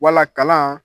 Wala kalan